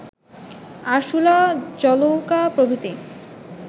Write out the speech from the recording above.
আরসুলা জলৌকা প্রভৃতি